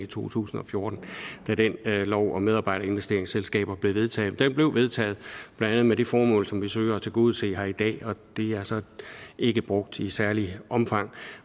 i to tusind og fjorten da den lov om medarbejderinvesteringsselskaber blev vedtaget men den blev vedtaget blandt andet med det formål som vi søger at tilgodese her i dag og det er så ikke brugt i særligt omfang